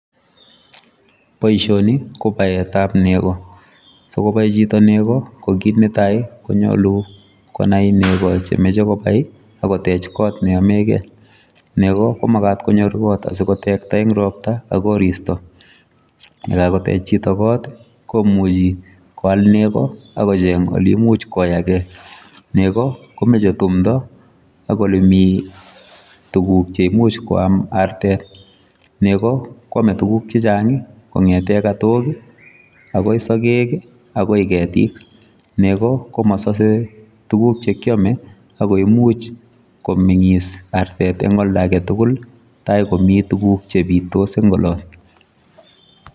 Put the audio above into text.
Boishoni ko baetap nego. Sikobai chito nego ko kit netai konyolu konai nego chemeche kobai akotech kot neyomekei. Nego ko makat konyor kot asikotekta eng ropta ak koristo. Yekakotech chito kot komuchi koal nego akocheng oleimuch koyakee. Nego komeche tumdo ak olemi tuguk che imuch koam artet. Nego kwome tuguk chechang kong'ete katok akoi sogek akoi ketik. Nego komasose tuguk chekyome ako imuch komeng'is artet eng olda aketugul tai komi tuguk chepitos eng olot.